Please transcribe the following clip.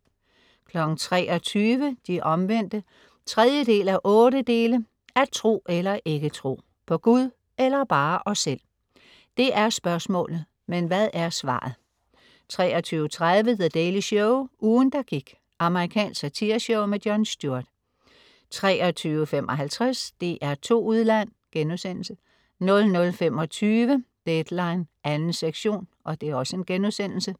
23.00 De Omvendte 3:8. At tro eller ikke tro. På Gud eller bare os selv. Det er spørgsmålet, men hvad er svaret? 23.30 The Daily Show. Ugen, der gik. Amerikansk satireshow. Jon Stewart 23.55 DR2 Udland* 00.25 Deadline 2. sektion*